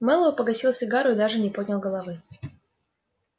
мэллоу погасил сигару и даже не поднял головы